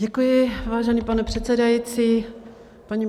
Děkuji, vážený pane předsedající.